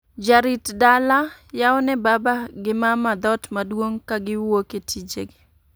Jarit dala, yao ne baba gi mama dhoot maduong' ka giwuok e tije gi